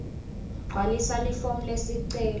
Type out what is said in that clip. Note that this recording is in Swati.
gcwalisa lifomu lesicelo